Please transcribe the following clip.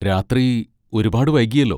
രാത്രി ഒരുപാട് വൈകിയല്ലോ.